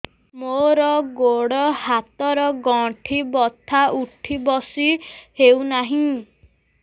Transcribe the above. ମୋର ଗୋଡ଼ ହାତ ର ଗଣ୍ଠି ବଥା ଉଠି ବସି ହେଉନାହିଁ